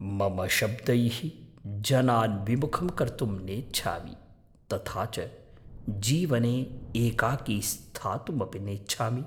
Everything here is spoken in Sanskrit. मम शब्दैः जनान् विमुखं कर्तुं नेच्छामि तथा च जीवने एकाकी स्थातुमपि नेच्छामि।